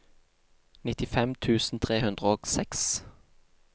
nittifem tusen tre hundre og seks